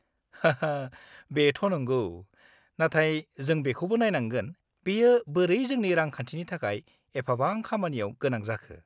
-हाहा, बेथ' नंगौ, नाथाय जों बेखौबो नायनांगोन बेयो बोरै जोंनि रांखान्थिनि थाखाय एफाबां खामानियाव गोनां जाखो!